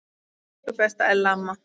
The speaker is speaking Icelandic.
Elsku besta Ella amma.